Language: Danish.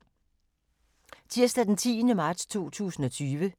Tirsdag d. 10. marts 2020